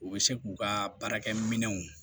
U bɛ se k'u ka baarakɛminɛnw